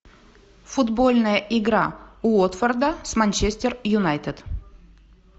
футбольная игра уотфорда с манчестер юнайтед